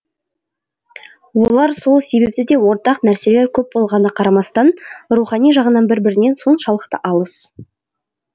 олар сол себепті де ортақ нәрселер көп болғанына қарамастан рухани жағынан бір бірінен соншалықты алыс